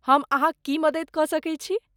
हम अहाँक की मदति कऽ सकैत छी?